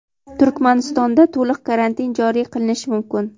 Turkmanistonda to‘liq karantin joriy qilinishi mumkin.